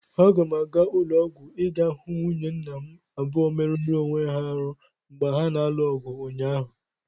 Aga m aga ụlọ ọgwụ ịga hụ nwunye nna m abụọ merụrụ onwe ha arụ mgba ha na-alụ ọgụ ụnyaahụ.